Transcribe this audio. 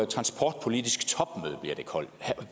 transportpolitisk topmøde